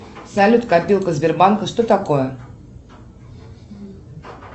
салют копилка сбербанка что такое